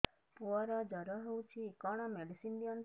ପୁଅର ଜର ହଉଛି କଣ ମେଡିସିନ ଦିଅନ୍ତୁ